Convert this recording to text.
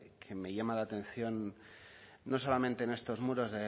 que me llama la atención no solamente en estos muros